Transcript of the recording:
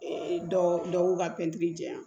Ee dɔw ka pɛntiri jɛɛya